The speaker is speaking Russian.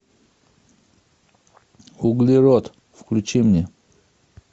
углерод включи мне